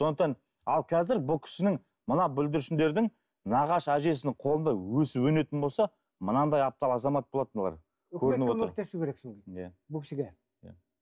сондықтан ал қазір бұл кісінің мына бүлдіршіндердің нағашы әжесінің қолында өсіп өнетін болса мынандай аптал азамат болады мыналар көрініп отыр иә бұл кісіге иә